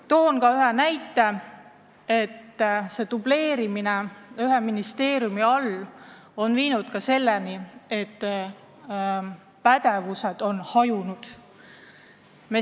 Toon ühe näite, et dubleerimine ühes ministeeriumis on viinud selleni, et pädevused on hajunud.